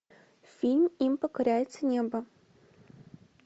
фильм им покоряется небо